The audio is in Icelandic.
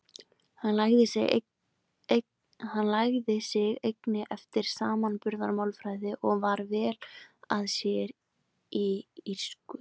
Hann lagði sig einnig eftir samanburðarmálfræði og var vel að sér í írsku.